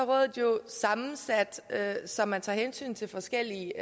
rådet jo sammensat så man tager hensyn til forskellige